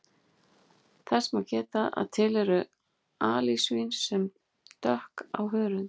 Þess má geta að til eru alisvín sem dökk á hörund.